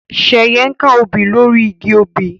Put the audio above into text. Sheye nká òbí lori ìgi òbí